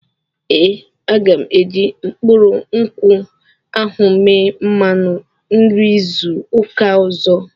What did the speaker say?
Ee, aga m eji mkpụrụ nkwụ ahụ eme mmanụ nri izu ụka ọzọ.